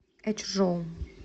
эчжоу